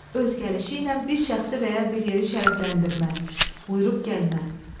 öz gəlişi ilə bir şəxsi və ya bir yeri şərəfləndirmə, buyurub gəlmə.